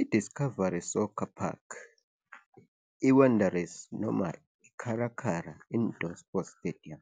I-Discovery Soccer Park, i-Wanderers noma iKhara Khara Indoor Stadium